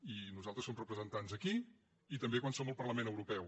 i nosaltres som representants aquí i també quan som al parlament europeu